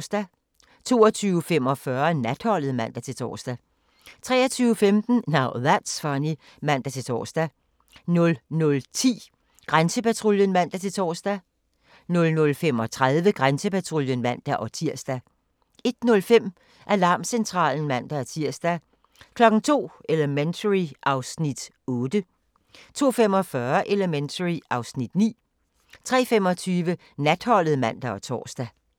22:45: Natholdet (man-tor) 23:15: Now That's Funny (man-tor) 00:10: Grænsepatruljen (man-tor) 00:35: Grænsepatruljen (man-tir) 01:05: Alarmcentralen (man-tir) 02:00: Elementary (Afs. 8) 02:45: Elementary (Afs. 9) 03:25: Natholdet (man og tor)